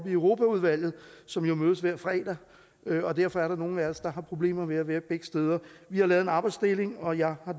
i europaudvalget som jo mødes hver fredag derfor er der nogle af os der har problemer med at være begge steder vi har lavet en arbejdsdeling og jeg har